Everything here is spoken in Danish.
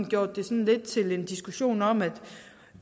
gjort det lidt til en diskussion om at